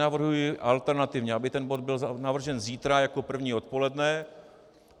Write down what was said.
Navrhuji alternativně, aby ten bod byl zařazen zítra jako první odpoledne.